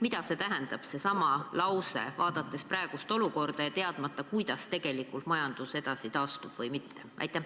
Mida seesama lause tähendab, vaadates praegust olukorda ja olles teadmatuses, kuidas tegelikult majandus edaspidi taastub või ei taastu?